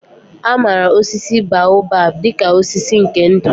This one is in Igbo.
A maara osisi baobab dị ka osisi nke ndụ.